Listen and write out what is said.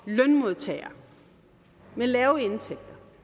lønmodtagere med lave indtægter